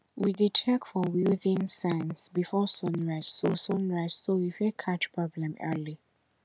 we dey check for wilting signs before sunrise so sunrise so we fit catch problem early